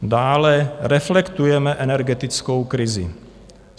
Dále reflektujeme energetickou krizi.